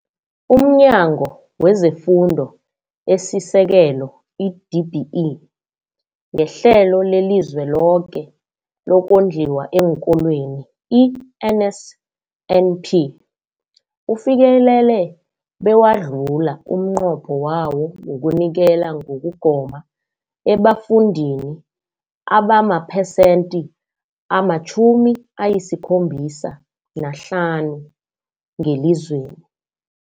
UmNyango wezeFundo esiSekelo, i-DBE, ngeHlelo leliZweloke lokoNdliwa eenKolweni, i-NSNP, ufikelele bewadlula umnqopho wawo wokunikela ngokugoma ebafundini abamaphesenthi ama-75 ngelizweni.